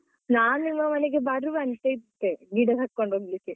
ನಾನು ನಿಮ್ಮ ಮನೆಗೆ ಬರುವಂತೆ ಇದ್ದೆ ಗಿಡ ತಗೊಂಡೋಗ್ಲಿಕ್ಕೆ.